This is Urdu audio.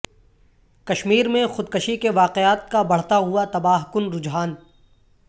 کشمیر میں خودکشی کے واقعات کا بڑھتا ہوا تباہ کن رحجان